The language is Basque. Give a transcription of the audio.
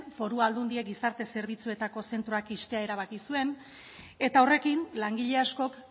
foru aldundiek gizarte zerbitzuetako zentroak ixtea erabaki zuen eta horrekin langile askok